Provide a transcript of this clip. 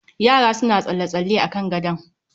Yara suna tsalle-tsalle a kan gadon